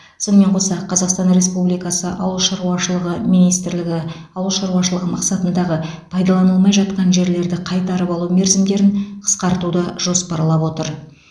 сонымен қоса қазақстан республикасы ауыл шаруашылығы министрлігі ауыл шаруашылығы мақсатындағы пайдаланылмай жатқан жерлерді қайтарып алу мерзімдерін қысқартуды жоспарлап отыр